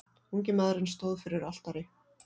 Ungi maðurinn stóð fyrir altari.